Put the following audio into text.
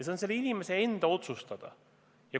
See on selle inimese enda otsustada.